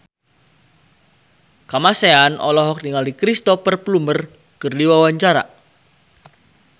Kamasean olohok ningali Cristhoper Plumer keur diwawancara